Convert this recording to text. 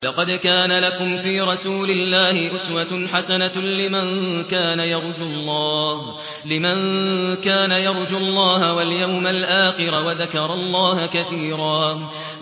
لَّقَدْ كَانَ لَكُمْ فِي رَسُولِ اللَّهِ أُسْوَةٌ حَسَنَةٌ لِّمَن كَانَ يَرْجُو اللَّهَ وَالْيَوْمَ الْآخِرَ وَذَكَرَ اللَّهَ كَثِيرًا